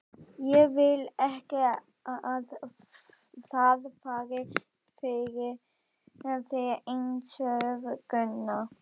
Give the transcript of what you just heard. Ég vil ekki að það fari fyrir þér einsog Gunna.